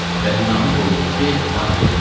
Və binanı qoyduq ki, filan gün gedək.